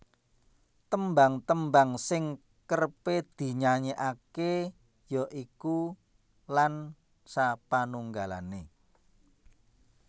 Tembang tembang sing kerep dinyanyekake ya iku Lan sapanunggale